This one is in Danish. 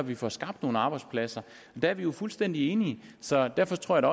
vi får skabt nogle arbejdspladser der er vi jo fuldstændig enige så derfor tror jeg